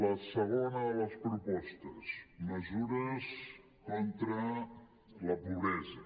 la segona de les propostes mesures contra la pobresa